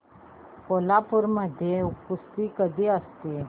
कोल्हापूर मध्ये कुस्ती कधी असते